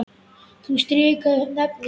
Ég strika yfir nöfnin.